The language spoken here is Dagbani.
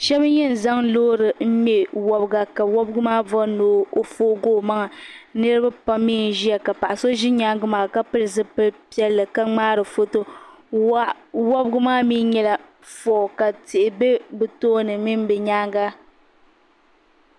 Shaba n yɛn zaŋ loori n ŋmɛ wɔbiga ka wɔbiga maa bɔri ni o foogi o maŋa niriba pam mi n ʒiya ka paɣa so ʒi nyaanga ka pili zipili piɛlli ka ŋmaari foto wɔbigu maa mi nyɛla fɔɔ ti tihi bɛ bi tooni mini bi nyaanga.